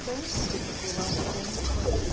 Então... Você ficou lá um tem... Quanto tempo?